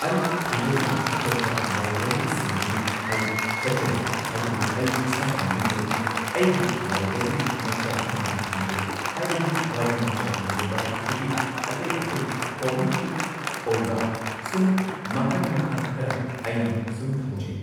ꯑꯩ ꯊꯣꯏꯗꯣꯛꯅ ꯑꯇꯣꯞꯄ ꯂꯥꯏꯕ꯭ꯔꯦꯔꯤꯁꯤꯡꯗꯗꯤ ꯑꯩ ꯆꯠꯆꯗꯦ ꯑꯗꯨꯕꯨ ꯑꯩ ꯏꯁꯥꯒꯤ ꯌꯨꯝꯗꯗꯤ ꯑꯩꯒꯤ ꯂꯥꯏꯕ꯭ꯔꯦꯔꯤ ꯃꯆꯥ ꯑꯃꯗꯤ ꯊꯝꯖꯩ ꯍꯥꯏꯕꯗꯤ ꯋꯥꯔꯤ ꯃꯆꯥꯒꯤ ꯑꯣꯏꯕ ꯑꯗꯒꯤ ꯑꯇꯩ ꯑꯇꯩ ꯀꯣꯃꯤꯛꯀꯤ ꯑꯣꯏꯕ ꯁꯨꯝ ꯃꯈꯟ ꯃꯈꯥ ꯈꯔ ꯑꯩꯅ ꯁꯨꯝ ꯊꯝꯖꯩ